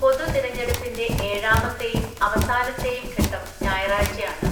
പൊതുതിരഞ്ഞെടുപ്പിൻ്റെ ഏഴാമത്തെയും, അവസാനത്തെയും ഘട്ടം ഞായറാഴ്ച ആണ്.